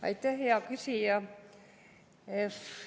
Aitäh, hea küsija!